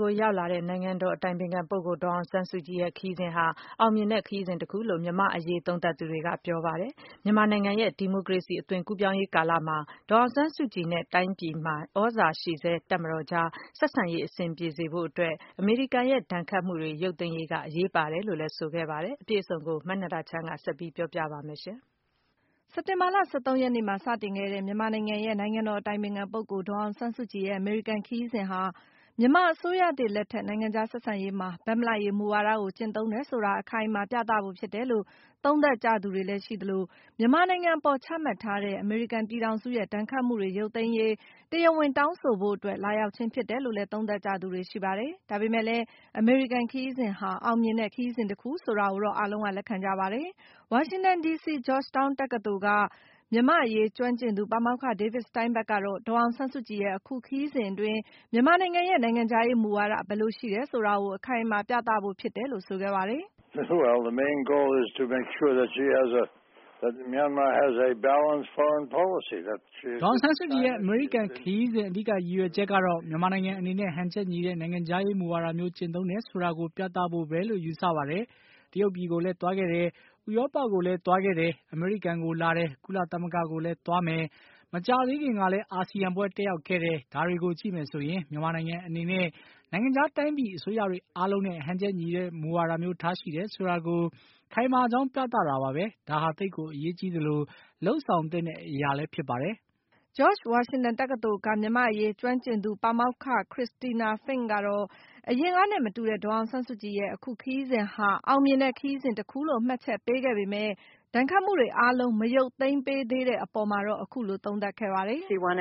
ကို လာရောက်တဲ့ နိုင်ငံတော်အတိုင်ပင်ခံပုဂ္ဂိုလ် ဒေါ်အောင်ဆန်းစုကြည် ရဲ့ ခရီးစဉ်ဟာ အောင်မြင်တဲ့ ခရီးစဉ်တခုလို့ - မြန်မာ့အရေး သုံးသပ်သူတွေ က ပြောဆိုလိုက်ပါတယ်။ မြန်မာနိုင်ငံရဲ့ ဒီမိုကရေစီ အသွင်ကူးပြောင်းရေး ကာလမှာ ဒေါ်အောင်ဆန်းစုကြည်နဲ့ တိုင်းပြည်မှာ သြဇာရှိဆဲ တပ်မတော်အကြား ဆက်ဆံရေး အဆင်ပြေဖို့အတွက် အမေရိကန်ရဲ့ ဒဏ်ခတ်မှုတွေ ရုပ်သိမ်းရေးက အရေးပါတယ်လို့ ဆိုခဲ့ပါတယ်။ အပြည့်အစုံကို မနန္ဒာချမ်း က ဆက်ပြောပြပါမယ်။ စက်တင်ဘာလ ၁၃ ရက်နေ့မှာ စတင်ခဲ့တဲ့ မြန်မာနိုင်ငံရဲ့ နိုင်ငံတော် အတိုင်ပင်ခံပုဂ္ဂိုလ် ဒေါ်အောင်ဆန်းစုကြည်ရဲ့ အမေရိကန်ခရီးစဉ်ဟာ - မြန်မာ အစိုးရသစ်လက်ထက် နိုင်ငံခြားဆက်ဆံရေးမှာ ဘက်မလိုက်ရေးမူဝါဒကို ကျင့်သုံးတယ်ဆိုတာ အခိုင်အမာ ပြသဖို့ဖြစ်တယ်လို့ သုံးသပ်ကြသူတွေ လည်းရှိသလို၊ မြန်မာနိုင်ငံအပေါ် ချမှတ်ထားတဲ့ အမေရိကန်ပြည်ထောင်စုရဲ့ ဒဏ်ခတ်မှုတွေ ရုပ်သိမ်းရေး တရားဝင် တောင်းဆိုဖို့အတွက် လာရောက် ခြင်းဖြစ်တယ် လို့လည်း သုံးသပ်နေကြတာပါ။ ဒါပေမဲ့လည်း အမေရိကန်ခရီးစဉ်ဟာ အောင်မြင်တဲ့ ခရီးစဉ်တခုဆိုတာကိုတော့ သူတို့အားလုံးက လက်ခံ ကြပါတယ်။ ဝါရှင်တန်ဒီစီ - ဂျော့ရှ်တောင်းတက္ကသိုလ်က မြန်မာ့အရေးကျွမ်းကျင်သူ ပါမောက္ခ David Steinberg ကတော့ - ဒေါ်အောင်ဆန်းစုကြည်ရဲ့ အခုခရီးစဉ် အတွင်း မြန်မာနိုင်ငံရဲ့ နိုင်ငံခြားရေးမူဝါဒ ဘယ်လိုရှိတယ်ဆိုတာကို အခိုင်အမာ ပြသဖို့ဖြစ်တယ်လို့ ဆိုခဲ့ပါတယ်။ “ဒေါ်အောင်ဆန်းစုကြည်ရဲ့ အမေရိကန်ခရီးစဉ် အဓိက ရည်ရွယ်ချက်ကတော့ - မြန်မာနိုင်ငံအနေနဲ့ ဟန်ချက်ညီတဲ့ နိုင်ငံခြားရေးမူဝါဒမျိုး ကျင့်သုံးတယ် ဆိုတာကို ပြသဖို့ပဲလို့ ယူဆပါတယ်။ တရုတ်ပြည်ကိုလည်း သွားခဲ့တယ်။ ဥရောပကိုလည်း သွားခဲ့တယ်။ အမေရိကန်ကို လာတယ်။ ကုလသမဂ္ဂကိုလည်း သွားမယ်။ မကြာသေးခင်ကလည်း အာဆီယံပွဲ တက်ရောက်ခဲ့တယ်။ ဒါတွေကိုကြည့်မယ်ဆိုရင် မြန်မာနိုင်ငံအနေနဲ့ နိုင်ငံခြားတိုင်းပြည် အစိုးရတွေ အားလုံးနဲ့ ဟန်ချက်ညီတဲ့ မူဝါဒမျိုး ထားရှိတယ်ဆိုတာကို ခိုင်မာကြောင်း ပြသ တာပါပဲ။ ဒါဟာ သိပ်ကို အရေးကြီးသလို၊ လုပ်ဆောင်သင့်တဲ့ အရာလည်း ဖြစ်ပါတယ်။” ဂျော့ရှ်ဝါရှင်တန်တက္ကသိုလ်က မြန်မာ့အရေးကျွမ်းကျင်သူ ပါမောက္ခ Christina Fink ကလည်း - အရင်ကနဲ့မတူတဲ့ ဒေါ်အောင်ဆန်းစုကြည်ရဲ့ အခု ခရီးစဉ်ဟာ အောင်မြင်မှု ခရီးစဉ်တခု လို့ မှတ်ချက်ချပေမဲ့ - ဒဏ်ခတ်မှုတွေအားလုံး မရုပ်သိမ်းပေးတဲ့အပေါ်မှာတော့ အခုလို သုံးသပ်ခဲ့ပါ တယ်။ “ဒေါ်အောင်ဆ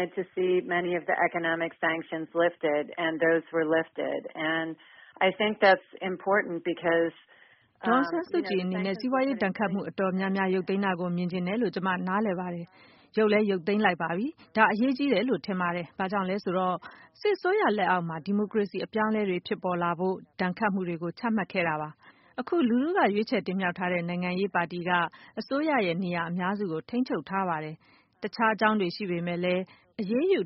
န်းစုကြည်အနေနဲ့ စီးပွားရေးဒဏ်ခတ်မှု တော်တော်များများ ရုပ်သိမ်းတာကို မြင်ချင်တယ်လို့ ကျမနားလည်ပါတယ်။ ရုပ်လည်း ရုပ်သိမ်းလိုက်ပါပြီ။ ဒါ အရေးကြီးတယ်လို့ ထင်ပါတယ်။ ဘာကြောင့်လဲဆိုတော့ စစ်အစိုးရလက်အောက်မှာ ဒီမိုကရေစီ အပြောင်းအလဲတွေ ဖြစ်ပေါ်လာဖို့အတွက် ဒဏ်ခတ်မှုတွေကို ချမှတ်ခဲ့တာပါ။ အခုက လူထုက ရွေးချယ် တင်မြှောက်တဲ့ နိုင်ငံရေးပါတီက အစိုးရရဲ့ နေရာအများစု ကို ထိန်းချုပ်ထားပါတယ်။ တခြားအကြောင်းတွေ ရှိပေမဲ့လည်း ဒဏ်ခတ်အရေးယူ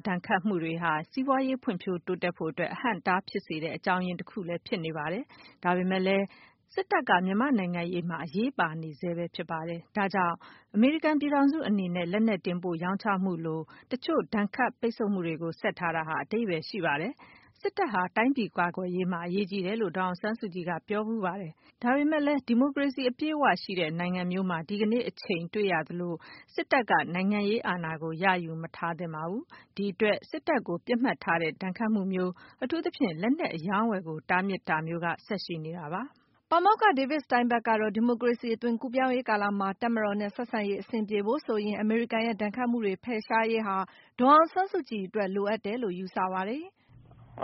မှုတွေဟာ စီးပွားရေး ဖွံ့ဖြိုးတိုးတက်ဖို့အတွက် အဟန့်အတား ဖြစ်စေတဲ့ အကြောင်းရင်းတခုလည်း ဖြစ်ပါတယ်။ ဒါပေမဲ့လည်း စစ်တပ်က မြန်မာ့နိုင်ငံရေးမှာ အရေးပါနေဆဲပါ။ ဒါကြောင့် အမေရိကန်ပြည်ထောင်စုအနေနဲ့ လက်နက်တင်ပို့ရောင်းချမှုလို တချို့ ဒဏ်ခတ်ပိတ်ဆို့မှုတွေကို ဆက်ထားတာဟာ အဓိပါယ်ရှိပါတယ်။ စစ်တပ်ဟာ တိုင်းပြည်ကာကွယ်ရေးမှာ အရေးကြီးတယ်လို့ ဒေါ်အောင်ဆန်းစုကြည်က ပြောဘူးပါတယ်။ ဒါပေမဲ့လညလ်း ဒီမိုကရေစီ အပြည့်အ၀ ရှိတဲ့နိုင်ငံမျိုးမှာ ဒီကနေ့အချိန် တွေ့နေရသလို စစ်တပ်က နိုင်ငံရေး အာဏာကို ရယူမထားသင့်ပါဘူး။ ဒီအတွက် စစ်တပ်ကို ပစ်မှတ်ထားတဲ့ ဒဏ်ခတ်မှုမျိုး၊ အထူးသဖြင့် လက်နက်အရောင်းအဝယ်ကို တားမြစ်ထားမျိုး ဆက်ရှိနေတာပါ။” ပါမောက္ခ David Steinberg ကတော့ - ဒီမိုကရေစီ အသွင်ကူးပြောင်းရေးကာလမှာ တပ်မတော်နဲ့ ဆက်ဆံရေးအဆင်ပြေဖို့ဆိုရင် - အမေရိကန်ရဲ့ ဒဏ်ခတ်မှုတွေ ဖယ်ရှားရေးဟာ ဒေါ်အောင်ဆန်းစုကြည်အတွက် လိုအပ်တယ်လို့ ယူဆပါတယ်။ “အ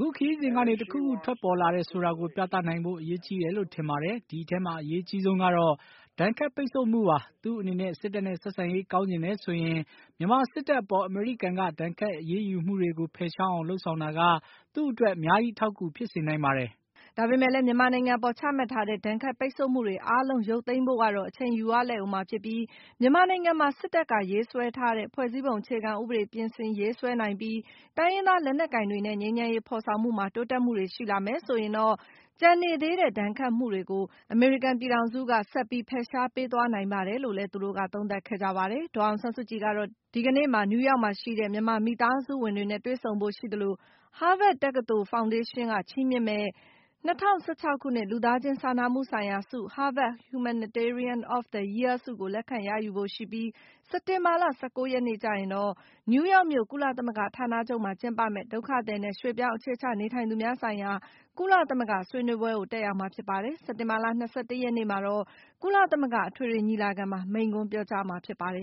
ခုခရီးစဉ်ကနေ တခုခု ထွက်ပေါ်လာတယ် ဆိုတာကို ပြသနိုင်ဖို့ အရေးကြီးတယ်လို့ ထင်ပါတယ်။ ဒီအထဲမှာ အရေးအကြီးဆုံးကတော့ ဒဏ်ခတ်ပိတ်ဆို့မှုပါ။ သူ့အနေနဲ့ စစ်တပ်နဲ့ ဆက်ဆံရေး ကောင်းချင်တယ်ဆိုရင်၊ မြန်မာစစ်တပ်အပေါ် အမေရိကန်က ဒဏ်ခတ်အရေးမှုတွေ ကို ဖယ်ရှားအောင် လုပ်ဆောင်တာက သူ့အတွက် အများကြီး အထောက်အကူ ဖြစ်စေနိုင်ပါတယ်။” ဒါပေမဲ့လည်း မြန်မာနိုင်ငံအပေါ် ချမှတ်ထားတဲ့ ဒဏ်ခတ်ပိတ်ဆို့မှုတွေ အားလုံး ရုပ်သိမ်းဖို့ကတော့ အချိန်ယူရလိမ့်ဦးမှာဖြစ်ပြီး၊ မြန်မာနိုင်ငံမှာ စစ်တပ်က ရေးဆွဲထားတဲ့ ဖွဲ့စည်းပုံအခြေခံဥပဒေ ပြင်ဆင်ရေးဆွဲနိုင်ပြီး၊ တိုင်းရင်းသားလက်နက်ကိုင်တွေနဲ့ ငြိမ်းချမ်းရေးဖော်ဆောင်မှုမှာ တိုးတက်မှုတွေ ရှိလာမယ် ဆိုရင်တော့ - ကျန်နေသေးတဲ့ ဒဏ်ခတ်မှုတွေကို အမေရိကန်ပြည်ထောင်စုက ဆက်ပြီး ဖယ်ရှားပေးသွားနိုင်ပါ တယ်လို့လည်း သူတို့က သုံးသပ်ခဲ့ကြပါ တယ်။ ဒေါ်အောင်ဆန်းစုကြည်ကတော့ - ဒီကနေ့မှာ နယူးယောက်မှာရှိတဲ့ မြန်မာ မိသားစုဝင်တွေနဲ့ တွေ့ဆုံဖို့ရှိသလို၊ Harvard တက္ကသိုလ် Harvard ဖောင်ဒေးရှင်းက ချီးမြှင့်မယ့် ၂၀၁၆ ခုနှစ် လူသားချင်းစာနာမှုဆိုင်ရာဆု - Harvard Humanitarian of the Year ဆုကို လက်ခံရယူဖို့ရှိပြီး၊ စက်တင်ဘာလ ၁၉ ရက်နေ့ ကျရင်တော့ နယူးယောက်မြို့ ကုလသမဂ္ဂ ဌာနချုပ်မှာ ကျင်းပမယ့် ဒုက္ခသည်နဲ့ ရွှေ့ပြောင်း အခြေချနေထိုင်သူများဆိုင်ရာ ကုလသမဂ္ဂ ဆွေးနွေးပွဲကိုတက်ရောက်မှာဖြစ်ပါတယ်။ စက်တင်ဘာလ ၂၁ ရက်နေ့မှာတော့ ကုလသမဂ္ဂ အထွေထွေညီလာခံမှာ မိန့်ခွန်းပြောကြားမှာ ဖြစ်ပါတယ်